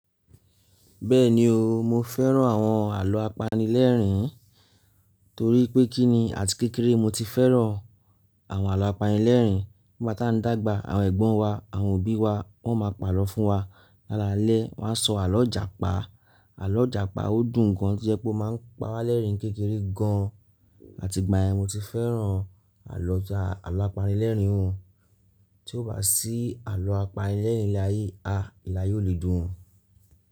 Bẹ́ẹ̀ni o, mo fẹ́ràn àwọn àlọ́ apanilẹ́rìn-ín torí pé kíni àti kékeré mo ti fẹ́ràn àwọn àlọ́ apanilẹ́rìn-ín. Nigbá dàgbà àwọn ẹ̀gbọ́n wa àwọn òbí wa wọ́n máa pàrọ̀ fún wa. Lálalẹ́ wọ́n á sọ àlọ́ Ijàpa, àlọ́ Ijàpa ó dùn gan tí jẹ́ pé ó máa ń pawálẹ́rìn-ín kékeré gan, àti ìgbà yẹn mo ti fẹ́ràn àlọ́ apanilẹ́rìn-ín. Tí ò bá sí àlọ́ apanilẹ́rìn-ín ní ilé ayé, a ilé ayé ó le dùn.